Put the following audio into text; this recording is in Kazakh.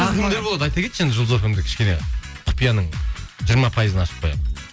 тағы кімдер болады айта кетші енді жұлдыз эф эм де кішкене құпияның жиырма пайызын ашып қояйық